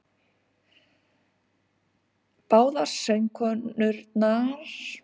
Báðar sögurnar koma að sjálfsögðu til skila mikilvægri þekkingu á hugmyndaheimi ákveðinnar menningar og tíma.